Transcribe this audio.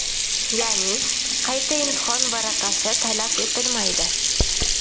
Ya’ni, qayta imtihon varaqasi talab etilmaydi.